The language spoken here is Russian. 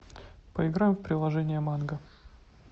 поиграем в приложение манго